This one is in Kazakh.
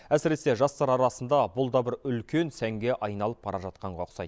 әсіресе жастар арасында бұл да бір үлкен сәнге айналып бара жатқанға ұқсайды